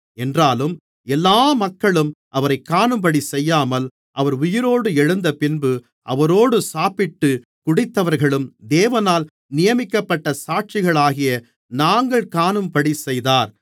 என்றாலும் எல்லா மக்களும் அவரைக் காணும்படிச்செய்யாமல் அவர் உயிரோடு எழுந்தபின்பு அவரோடு சாப்பிட்டு குடித்தவர்களும் தேவனால் நியமிக்கப்பட்ட சாட்சிகளாகிய நாங்கள் காணும்படிச்செய்தார்